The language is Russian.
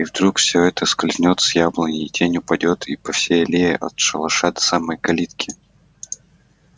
и вдруг всё это скользнёт с яблони и тень упадёт по всей аллее от шалаша до самой калитки